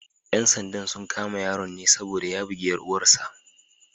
‘Yan sandan sun kama yaron ne saboda ya bugi ‘yar uwar sa.